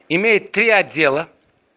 имеет три отдела